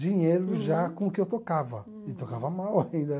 dinheiro já com o que eu tocava, e tocava mal ainda.